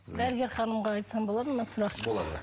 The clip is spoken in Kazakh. дәрігер ханымға айтсам болады ма сұрақ болады